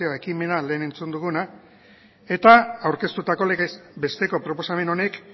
ekimena lehen entzun duguna eta aurkeztutako legez besteko proposamen honek